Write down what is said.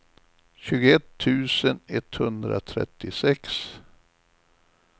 tjugoett tusen etthundratrettiosex